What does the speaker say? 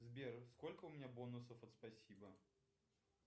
сбер сколько у меня бонусов от спасибо